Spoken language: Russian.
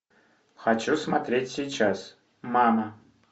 хочу смотреть сейчас мама